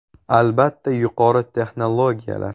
Albatta, yuqori texnologiyalar.